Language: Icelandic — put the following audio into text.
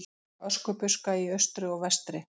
Öskubuska í austri og vestri.